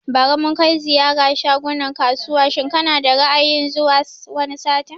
Bari mun kai ziyara shagunan kasuwa shin kana da Ra'ayin zuwa wani satin?